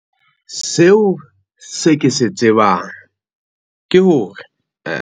Seo se ke se tsebang ke hore.